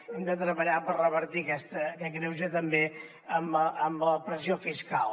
hem de treballar per revertir aquest greuge també en la pressió fiscal